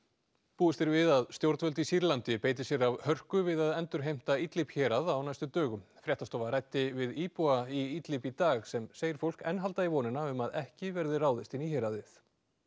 búist er við því að stjórnvöld í Sýrlandi beiti sér af hörku við að endurheimta hérað á næstu dögum fréttastofa ræddi við íbúa í Idlib í dag sem segir fólk enn halda í vonina um að ekki verði ráðist inn í héraðið